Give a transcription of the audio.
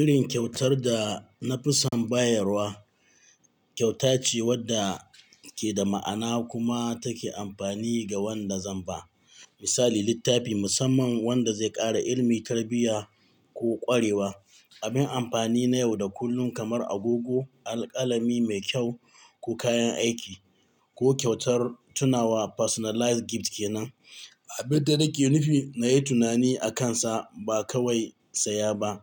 Irin kyautar da na fi son bayarwa, kyauta ce wadda ke da ma'ana kuma take amfani ga wanda zan ba. Misali, littafi musamman wanda zai ƙara ilimi, tarbiyya ko ƙwarewa. Abin amfani na yau da kullum kamar agogo, alƙalami mai kyau ko kayan aiki. Ko kyautar tunawa personalized gift kenan, abin da nake nufi na yi tunani akansa ba kawai saya ba.